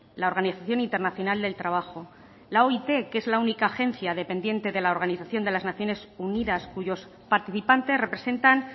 la organización internacional del trabajo la oit que es la única agencia dependiente de la organización de las naciones unidas cuyos participantes representan